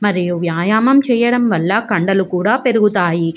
మరియు వ్యాయామం చేయడం వాల కండ్లు కూడా పెరుగుతాయి.